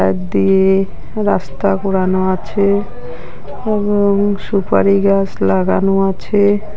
একদিকে রাস্তা ঘোরানো আছে এবং সুপারি গাছ লাগানো আছে।